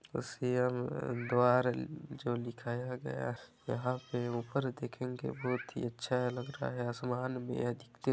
सी M द्वार जो लिखाया गया यहाँ पे ऊपर देखेंगे बहुत ही अच्छा लग रहा है आसमान भी --